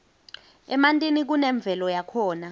emantini kunemvelo yakhona